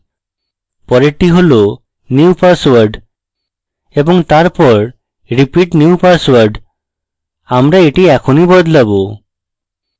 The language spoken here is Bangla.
পরেরটি হল new password এবং তারপর repeat new password আমরা এটি এখনই বদলাবো